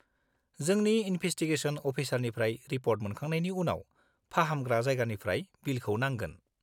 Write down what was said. -जोंनि इनभेसटिगेसन अफिसारनिफ्राय रिप'र्ट मोनखांनायनि उनाव, फाहामग्रा जायगानिफ्राय बिलखौ नांगोन।